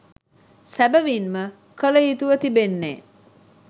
සැබැවින්ම කළ යුතුව තිබෙන්නේ